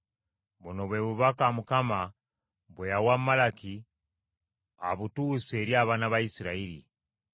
Buno bwe bubaka Mukama bwe yawa Malaki abutuuse eri abaana ba Isirayiri.